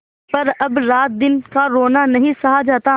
पर अब रातदिन का रोना नहीं सहा जाता